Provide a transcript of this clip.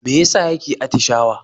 Me ya sa yake atishawa?